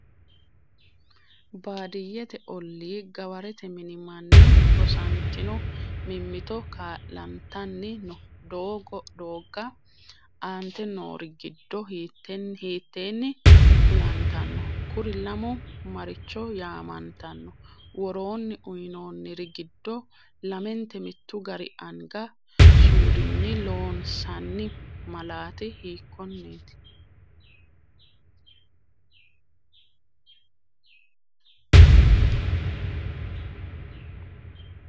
Baadiyyete ollii gawarete mini manni rosantino mimmito kaa’lantan- no doogga aante noori giddo hiitteenni kulantanno? Kuri lamu maricho yaamantanno? Woroonni uyinoonniri giddo lamente mittu gari anga suudinni loon- sanni malaati hiikkonneeti?